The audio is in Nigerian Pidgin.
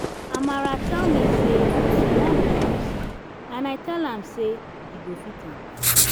amara tell me say she wan be nurse and i tell am say e go fit am